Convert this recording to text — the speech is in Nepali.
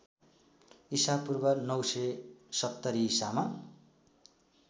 ईपू ९७० ईसा